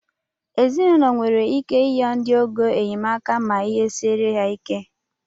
Ezinaụlọ nwere ike iyọ ndị ọgọ enyemaka ma ihe siere ha ike